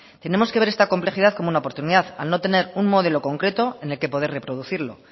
tenemos que ver esta complejidad como una oportunidad al no tener un modelo concreto en el que poder reproducirlo